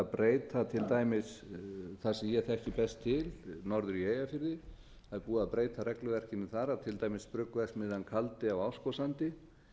breyta til dæmis þar sem ég þekki best til norður í eyjafirði það er búið að breyta regluverkinu þar að til dæmis bruggverksmiðja kaldi á árskógssandi